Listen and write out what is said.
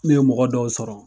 N ye mɔgɔ dɔw sɔrɔ.